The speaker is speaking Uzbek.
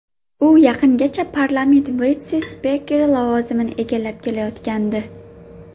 U yaqingacha parlament vitse-spikeri lavozimini egallab kelayotgandi.